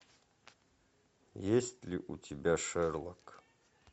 есть ли у тебя шерлок